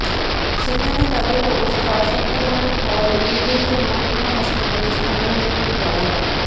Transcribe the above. সেখানে তাদের অবস্থা আশঙ্কাজনক হওয়ায় উলুবেড়িয়া মহকুমা হাসপাতালে স্থানান্তরিত করা হয়